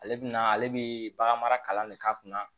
Ale bɛna ale bɛ bagan mara kalan de k'a kunna